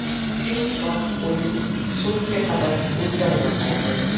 Shu hisob o‘yin so‘ngiga qadar o‘zgarmay qoldi.